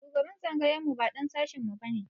Shugaban tsangayar mu ba ɗan sashin mu ba ne.